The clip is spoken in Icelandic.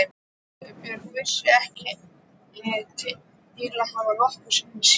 Sigurbjörn vissi ég ekki til að hafa nokkru sinni séð.